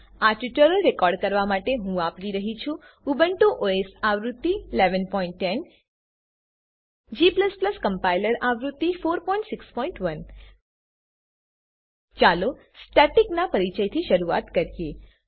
આ tutorial record કરવા માટે હું વાપરી રહ્યો છું ઉબુન્ટુ ઓએસ આવૃત્તિ 1110 g કમ્પાઈલર આવૃત્તિ 461 ચાલો સ્ટેટિક નાં પરિચયથી શરૂઆત કરીએ